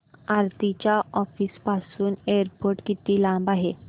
आरती च्या ऑफिस पासून एअरपोर्ट किती लांब आहे